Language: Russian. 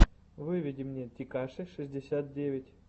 выведи мне текаши шестьдесят девять